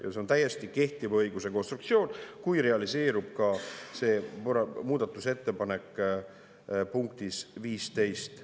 Ja see on täiesti kehtiva õiguse konstruktsioon, kui realiseerub ka see muudatusettepanek punktis 15.